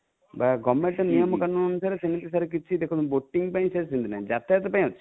ବା Government ନିୟମକାନୁନ ଅନୁସାରେ ସେମିତି sir କିଛି ଦେଖନ୍ତୁ boating ପାଇଁ ସେମିତି ନାହିଁ ଯାତାୟାତ ପାଇଁ ଅଛି